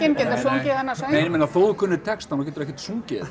getur sungið þennan söng nei ég meina þó þú kunnir textann þá geturðu ekkert sungið